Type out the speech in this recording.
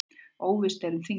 Óvíst um þinglok